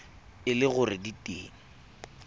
e le gore di teng